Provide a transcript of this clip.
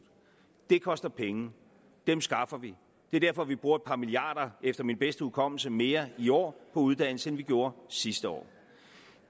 det koster penge dem skaffer vi og det er derfor vi bruger et par milliarder efter min bedste hukommelse mere i år på uddannelse end vi gjorde sidste år